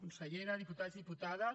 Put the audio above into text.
consellera diputats diputades